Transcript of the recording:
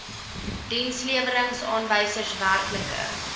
dienslewerings aanwysers werklike